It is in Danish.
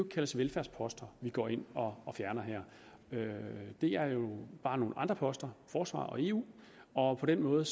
kaldes velfærdsposter vi går ind og fjerner her det er jo bare nogle andre poster forsvar og eu og på den måde